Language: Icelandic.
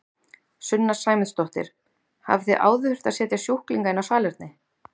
Sunna Sæmundsdóttir: Hafið þið áður þurft að setja sjúklinga inn á salerni?